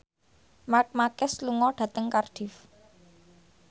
Marc Marquez lunga dhateng Cardiff